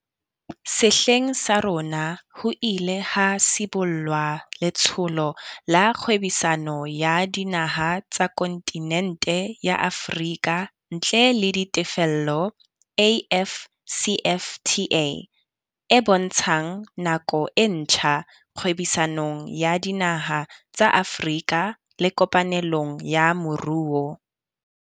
Sehleng sa rona ho ile ha sibollwa letsholo la kgwebisano ya dinaha tsa kontinente ya Afrika ntle le ditefello. AFCFTA, e bontshang nako e ntjha kgwebisanong ya dinaha tsa Afrika le kopanelong ya moruo.